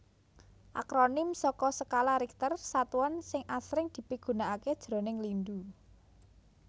Akronim saka Skala Richter satuan sing asring dipigunakaké jroning lindhu